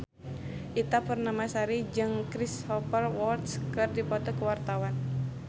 Ita Purnamasari jeung Cristhoper Waltz keur dipoto ku wartawan